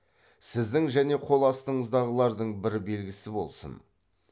сіздің және қол астыңыздағылардың бір белгісі болсын